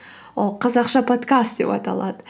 ол қазақша подкаст деп аталады